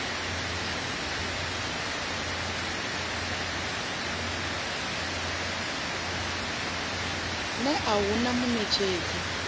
ner a hu na muṋetshedzi